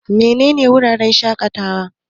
Menene wuraren shaƙatawa?